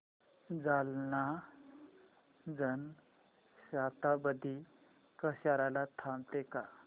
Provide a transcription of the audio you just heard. जालना जन शताब्दी कसार्याला थांबते का